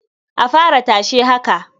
A fara tashe haka.